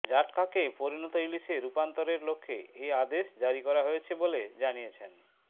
জাটকাকে পরিণত ইলিশে রূপান্তরের লক্ষ্যে এ আদেশ জারি করা হয়েছে বলে জানিয়েছেন